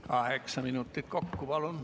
Kaheksa minutit kokku, palun.